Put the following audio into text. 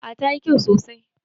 A tayi kyau sosai